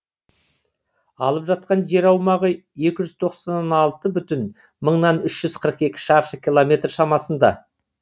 алып жатқан жер аумағы екі жүз тоқсан алты бүтін мыңнан үш жүз қырық екі шаршы километр шамасында